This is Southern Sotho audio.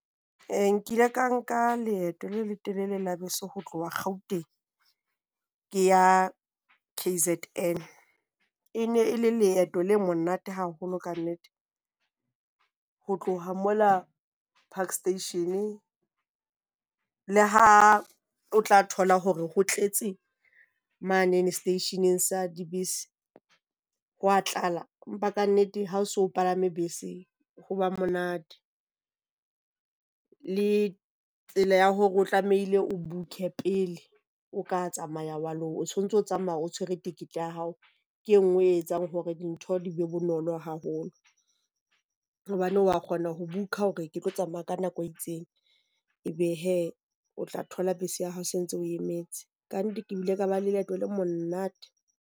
Eh nkile ka nka leeto le le telele la bese ho tloha Gauteng, ke ya K_Z_N. E ne e le leeto le monate haholo kannete, ho tloha mola park station le ha o tla thola hore ho tletse manene seteisheneng sa dibese, hwa tlala. Empa kannete ha o so palame bese ho ba monate. Le tsela ya hore o tlamehile o book-e pele o ka tsamaya wa lo o so o ntse o tsamaya o tshwere ticket ya hao. Ke e nngwe e etsang hore dintho di be bonolo haholo, hobane wa kgona ho book-a hore ke tlo tsamaya ka nako e itseng. Ebe hee o tla thola bese ya hao se ntse e o emetse. Kannete, ke bile ka ba le leeto le monate.